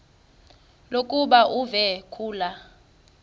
lokuba uve kulaa